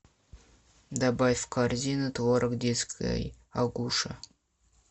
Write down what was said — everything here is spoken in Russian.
добавь в корзину творог детский агуша